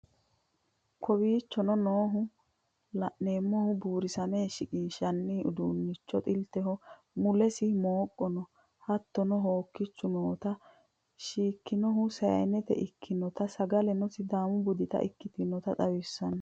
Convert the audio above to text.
Kowichoono nooha lanemoohu burisamme shikinshanni udunchee xiilteho mulessi mokko noo hattono hokkichu noota shikkinhu sayyinte ekkinotaa saggaleno sidamuu buudita ekkitnota xawissano